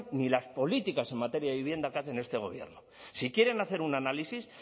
ni las políticas en materia de vivienda que hace este gobierno si quieren hacer un análisis